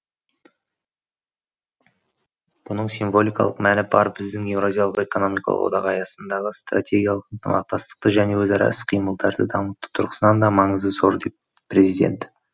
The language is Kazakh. бұның символикалық мәні бар әрі біздің еуразиялық экономикалық одақ аясындағы стратегиялық ынтымақтастықты және өзара іс қимылдарды дамыту тұрғысынан да маңызы зор деді президент